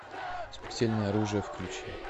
смертельное оружие включи